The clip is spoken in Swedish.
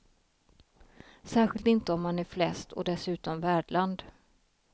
Särskilt inte om man är flest och dessutom värdland.